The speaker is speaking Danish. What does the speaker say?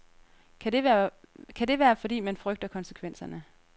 Kan det være fordi man frygter konsekvenserne.